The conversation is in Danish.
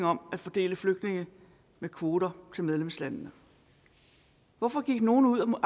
om at fordele flygtninge med kvoter til medlemslandene hvorfor gik nogle